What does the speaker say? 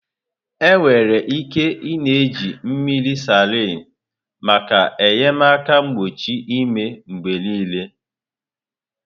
Enwere ike ị-na eji mmiri salin maka enyemaka mkpọchị imi mgbe niile.